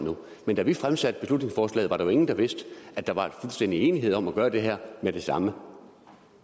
men da vi fremsatte beslutningsforslaget var der jo ingen der viste at der er fuldstændig enighed om at gøre det her med det samme